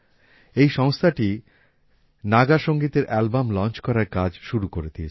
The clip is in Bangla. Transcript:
এই সংস্থাটি নাগা সংগীতের অ্যালবাম লঞ্চ করার কাজ শুরু করে দিয়েছে